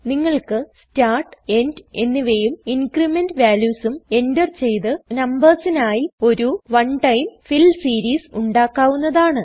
നിങ്ങൾക്ക് start end എന്നിവയും increment വാല്യൂസും എൻറർ ചെയ്ത് നമ്പേഴ്സിനായി ഒരു വൺ ടൈം ഫിൽ സീരീസ് ഉണ്ടാക്കാവുന്നതാണ്